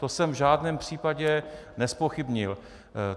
To jsem v žádném případě nezpochybnil.